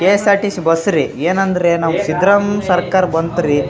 KSRTC bus ರೀ ಎನಂದ್ರೆ ನಮ್ಮ್ ಸಿದ್ರಾಮ್ ಸರ್ಕಾರ್ ಬಂತ್ರೀ.